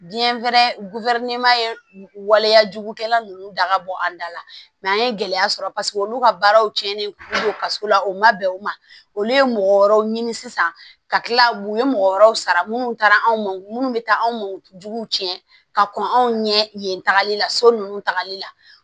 Biyɛn fɛnɛ waleyajugukɛla ninnu da ka bɔ an da la mɛ an ye gɛlɛya sɔrɔ olu ka baaraw cɛnnen don kaso la o ma bɛn o ma olu ye mɔgɔ wɛrɛw ɲini sisan ka kila u ye mɔgɔ wɛrɛw sara minnu taara anw ma minnu bɛ taa anw jugu tiɲɛ ka kɔn anw ɲɛ yen tagali la so ninnu tagali la